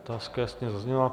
Otázka jasně zazněla.